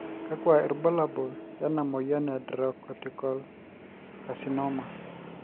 kakua irbulabol lena moyian e Adrenocortical carcinoma?